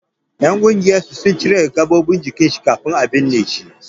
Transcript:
Ƴan ƙungiyar sun cire wasu gaɓoɓi daga jikin shi kafin a binne shi.